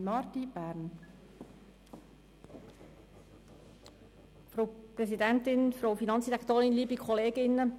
Deshalb bitte ich Sie, dieses Gesetz abzulehnen.